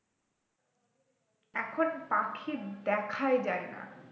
এখন পাখি দেখায় যাই না